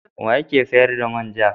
Wa yake sayar da man ja?